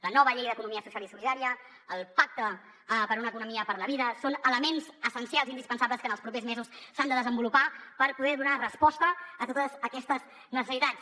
la nova llei d’economia social i solidària el pacte per una economia per la vida són elements essencials i indispensables que en els propers mesos s’han de desenvolupar per poder donar resposta a totes aquestes necessitats